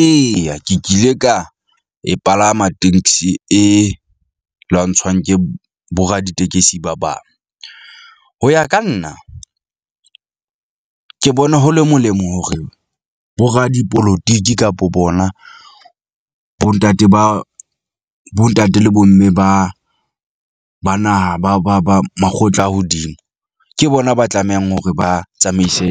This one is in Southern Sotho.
Eya, ke kile ka e palama tenksi e lwantshwang ke boraditekesi ba bang. Ho ya ka nna ke bona ho le molemo hore boradipolotiki kapa bona bo ntate ba bo ntate le bo mme ba ba naha, ba ba ba makgotla a hodimo. Ke bona ba tlamehang hore ba tsamaise